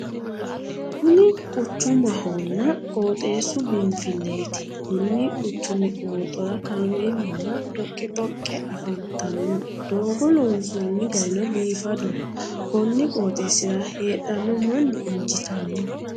Kuni quchumahonna qooxeessu biinfilleeti konni quchumi qooxora kaameelu nna dhoqqi dhoqqe afantanno doogo loonsoonni garino biifadoho konni qooxeessira heedhanno manni injiitanno.